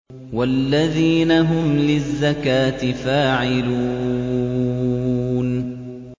وَالَّذِينَ هُمْ لِلزَّكَاةِ فَاعِلُونَ